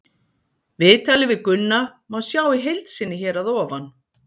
Viðtalið við Gunna má sjá í heild sinni hér að ofan.